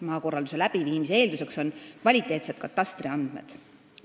Maakorralduse läbiviimise eeldus on kvaliteetsed katastriandmed.